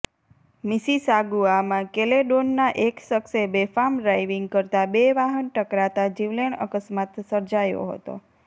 મિસિસાગુઆમાં કેલેડોનના એક શખ્સે બેફામ ડ્રાઈવિંગ કરતાં બે વાહન ટકરાતાં જીવલેણ અકસ્માત સર્જાયો હતો